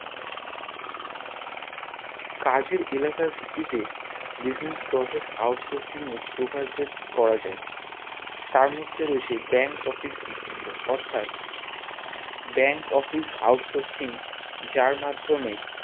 কাজের এলাকার ভিত্তি তে Business Process out sourcing এর প্রকার ভেদ করা যাই তার মধ্যে রয়েছে Bank Office BPO অর্থাৎ Bank Office out sourcing যার মাদ্ধমে